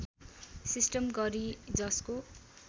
system गरि जसको